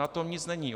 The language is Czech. Na tom nic není.